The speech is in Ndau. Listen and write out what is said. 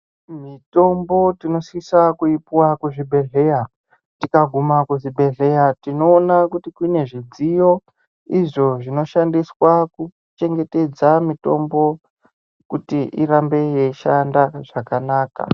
Mitombo tinosisa kuipiwa kuzvibhedhlera tikaguma kuzvibhedhlera tinoona kuti kune zvidziyo izvo zvinoshandiswa kuchengetedza mitombo kuti irambe yeishanda zvakanaka .